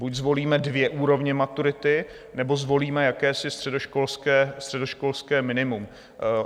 Buď zvolíme dvě úrovně maturity, nebo zvolíme jakési středoškolské minimum.